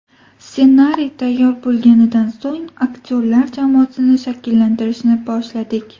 Ssenariy tayyor bo‘lganidan so‘ng, aktyorlar jamoasini shakllantirishni boshladik.